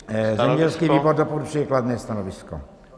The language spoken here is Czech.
Zemědělský výbor doporučuje kladné stanovisko.